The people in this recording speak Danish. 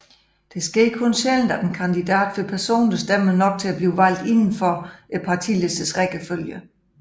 Det sker kun sjældent at en kandidat får personlige stemmer nok til at bliver valgt uden for partilistens rækkefølge